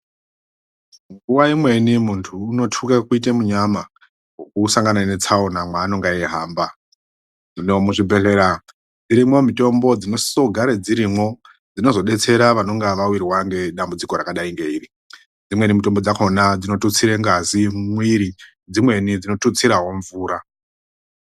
Nguva imweni muntu uno twuke kuite munyama weku sangana ne tsaona mwa anonga eyi hamba hino mu zvibhedhlera irimwo mutombo dzino sise kugare dzirimwo dzinozo detsera vanonga vawirwa nge dambudziko rakadai nge iri imweni mutombo dzakona dzino tutsire ngazi mu mwiri dzimweni dzino tutsirawo mvura.